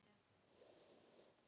Enginn hlusta á okkur.